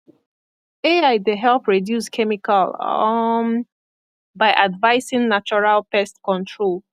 ai dey help reduce chemical um by advising natural pest control